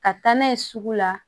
Ka taa n'a ye sugu la